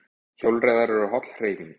Hjólreiðar eru holl hreyfing